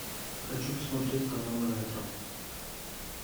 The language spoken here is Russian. хочу посмотреть канал ретро